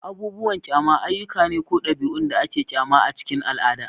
Abubuwan kyama ayyuka ne ko ɗabi'un da ake kyama a cikin al'ada.